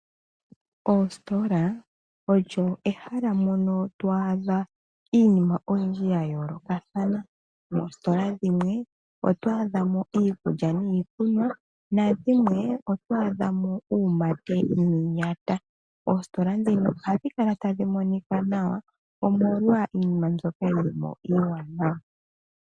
Oositola olyo ehala mono twaadha iinima oyindji ya yoolokathana. Moositola dhimwe otwaadha mo iikulya niikunwa nadhimwe otwaadha mo uumate niiyata. Oositola ndhino ohadhi kala tadhi monika nawa omolwa iinima mboka yili mo iiwanawa.